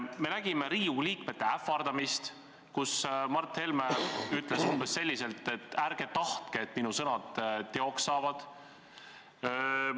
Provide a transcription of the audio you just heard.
Me nägime Riigikogu liikmete ähvardamist: Mart Helme ütles umbes nii: ärge tahtke, et minu sõnad teoks saavad.